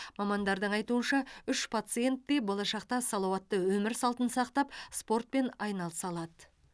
мамандардың айтуынша үш пациент те болашақта салауатты өмір салтын сақтап спортпен айналыса алады